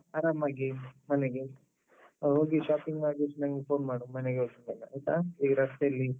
ಆರಾಮಾಗಿ ಮನೆಗೆ. ಹೋಗಿ shopping ಮಾಡ್ವಾ ದಿವ್ಸ ನಂಗೆ phone ಮಾಡು ಮನೆಗೆ ಹೋಗಿದ್ದಾಗ ಆಯ್ತಾ? ಈಗ ರಸ್ತೆಯಲ್ಲಿ.